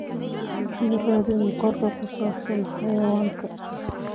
ii raadi muuqaal ku saabsan xayawaanka